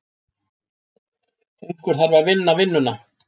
Einhver þarf að vinna vinnuna.